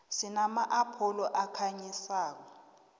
sinama apholo ayakhanyisa